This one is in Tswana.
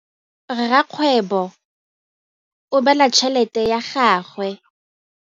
Rakgwêbô o bala tšheletê ya gagwe.